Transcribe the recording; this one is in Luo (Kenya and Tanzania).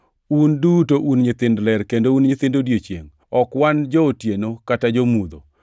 Un duto un nyithind ler, kendo un nyithind odiechiengʼ. Ok wan jo-otieno kata jo-mudho.